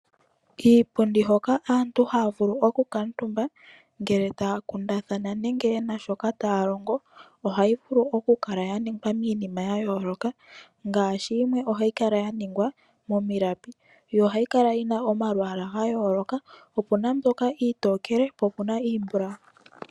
Iipundi hoka aantu haya vulu okukaatumba ngele taya kundathana nenge ye na shoka taya longo, ohayi vulu okukala ya ningwa miinima ya yooloka, ngaashi yimwe ohayi kala ya ningwa momilapi, yo ohayi kala yi na omalwaala ga yooloka. Ope na mbyoka iitokele po ope na iimbulawu.